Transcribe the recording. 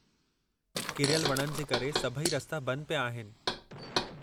किरयल वणनि जे करे सभई रस्ता बंद पिया आहिनि।